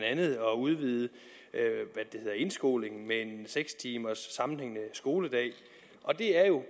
andet at udvide indskolingen med en seks timers sammenhængende skoledag og det er jo